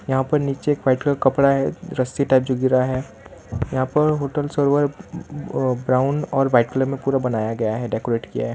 यहां पर नीचे एक वाइट कलर कपड़ा है रस्सी टाइप जो गिरा है यहां पर होटल सरोवर व ब्राउन और वाइट कलर में पूरा बनाया गया है डेकोरेट किया है।